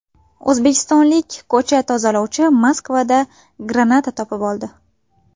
O‘zbekistonlik ko‘cha tozalovchi Moskvada granata topib oldi.